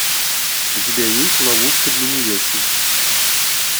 у тебя есть ловушка для невесты